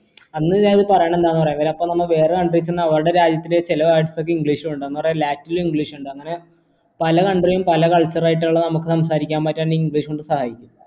അന്ന് ഞാൻ ഇത് പറയണം എന്താ അപ്പൊ നമ്മ വേറെ country അവരുടെ രാജ്യത്തിലെ ചില words ഒക്കെ english ഉണ്ട് latin english ഇണ്ട് അങ്ങനെ പല country ഉം പല culture ആയിട്ടാണലോ നമുക്ക് സംസാരിക്കാൻ പറ്റ english കൊണ്ട് സഹായിക്കും